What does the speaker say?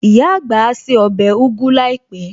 Ìyá àgbà á se ọbẹ̀ ugu láìpẹ̀